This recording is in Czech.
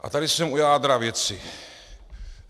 A tady jsem u jádra věci.